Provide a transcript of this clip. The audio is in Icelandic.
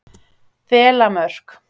Þelamörk